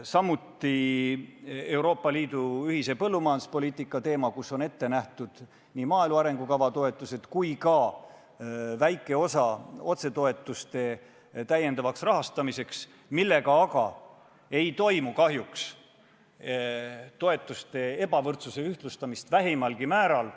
Samuti võib nimetada Euroopa Liidu ühist põllumajanduspoliitikat, mille jaoks on ette nähtud nii maaelu arengukava toetused kui ka väike osa otsetoetuste täiendavaks rahastamiseks, millega aga ei toimu kahjuks vähimalgi määral toetuste ebavõrdsuse ühtlustamist.